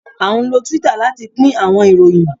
a nlo Twitter lati pin awọn iroyin